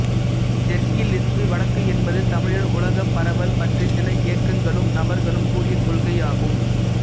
தெற்கிலிருந்து வடக்கு என்பது தமிழர் உலகப் பரவல் பற்றி சில இயக்கங்களும் நபர்களும் கூறிய கொள்கையாகும்